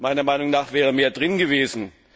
Meiner Meinung nach wäre mehr drin gewesen.